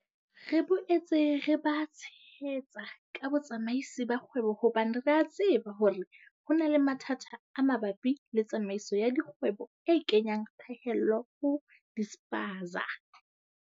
Re boetse re ba tshehetsa ka botsamaisi ba kgwebo hobane re a tseba hore ho na le mathata a mabapi le tsamaiso ya dikgwebo e kenyang phaello ho dispaza.